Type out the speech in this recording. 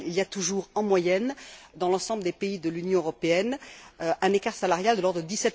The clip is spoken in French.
Il y a toujours, en moyenne, dans l'ensemble des pays de l'Union européenne, un écart salarial de l'ordre de